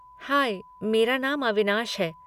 High, मेरा नाम अविनाश है।